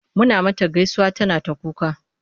Mun mata gaisuwa tana ta kuka.